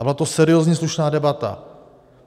A byla to seriózní, slušná debata.